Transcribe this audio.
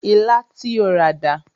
Ilá tí o rà dà?